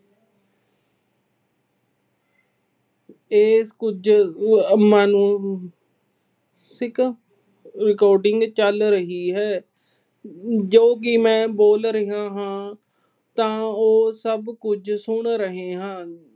ਇਸ ਕੁਝ ਅਹ ਅਮ ਨੂੰ recording ਚੱਲ ਰਹੀ ਹੈ, ਜੋ ਕਿ ਮੈਂ ਬੋਲ ਰਿਹਾ ਹਾਂ, ਤਾਂ ਉਹ ਸਭ ਕੁਝ ਸੁਣ ਰਹੇ ਹਾਂ।